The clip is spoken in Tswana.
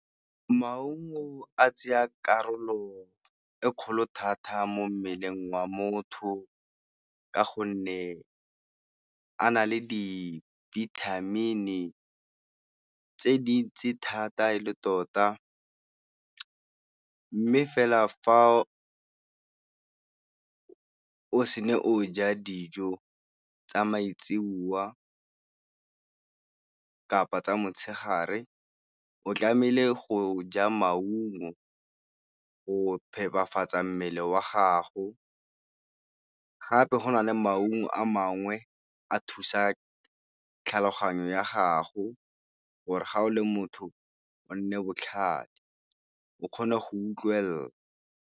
Maungo a tsaya karolo e kgolo thata mo mmeleng wa motho ka gonne a na le dibithamini tse dintsi thata e le tota. Mme fela fa o se ne o ja dijo tsa maitsiboa kapa tsa motshegare o tlamehile go ja maungo go phepafatsa mmele wa gago, gape go na le maungo a mangwe a thusa tlhaloganyo ya gago gore ga o le motho o nne botlhale o kgone go utlwelela.